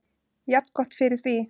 Jafngott fyrir því.